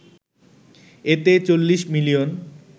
এতে ৪০ মিলিয়ন